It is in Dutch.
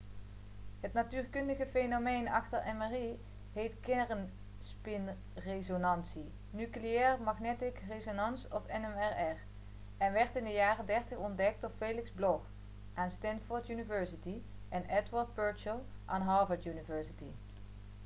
het natuurkundige fenomeen achter mri heet kernspinresonantie nuclear magnetic resonance of nmr en werd in de jaren '30 ontdekt door felix bloch aan stanford university en edward purcell aan harvard university